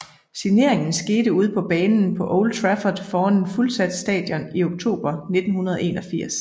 Signeringen skete ude på banen på Old Trafford foran et fuldsat stadion i oktober 1981